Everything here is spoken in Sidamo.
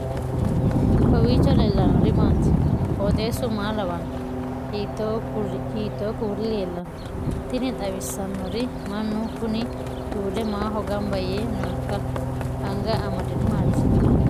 kowiicho leellannori maati ? qooxeessu maa lawaanno ? hiitoo kuuli leellanno ? tini xawissannori mannu kuni tuude maaho gamba yee nooikka anga amadinohu maati